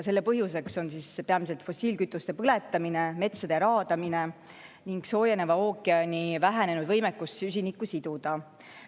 Selle põhjuseks on peamiselt fossiilkütuste põletamine, metsade raadamine ning soojeneva ookeani vähenenud võimekus süsinikku siduda.